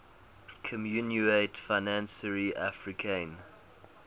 communaute financiere africaine